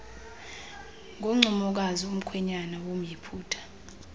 ngoncumokazi umkhwenyana womyiputa